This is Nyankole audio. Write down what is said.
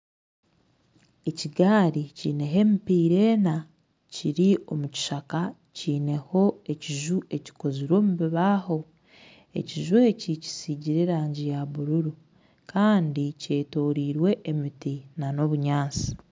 Ekigaari kineho emipiira ena kiri omu kishaka kineho ekiju ekikozirwe omu bibaho ekiju eki kisigire erangi ya bururu Kandi kyetoreirwe emiti nana obunyatsi